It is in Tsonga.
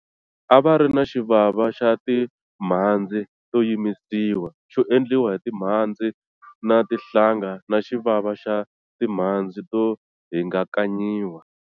A va ri na xivava xa timhandzi to yimisiwa, xo endliwa hi timhandzi na tinhlanga na xivava xa timhandzi to hingakanyiwa.